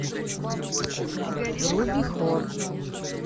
вруби хор